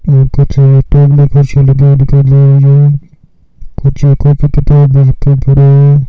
कुछ कैमरे पर कर रहे है कुछ कापी किताब है।